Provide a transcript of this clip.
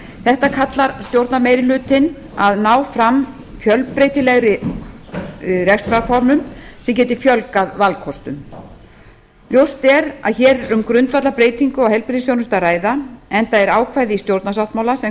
þetta kallar stjórnarmeirihlutinn að ná fram fjölbreytilegri rekstrarformum sem geti fjölgað valkostum ljóst er að hér er um grundvallarbreytingu á heilbrigðisþjónustu að ræða enda er ákvæði í stjórnarsáttmála sem